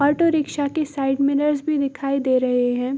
Auto rickshaw के side mirrors भी दिखाई दे रहे हैं।